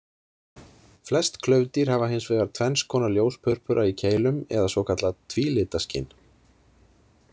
Flest klaufdýr hafa hins vegar tvenns konar ljóspurpura í keilum eða svokallað tvílitaskyn.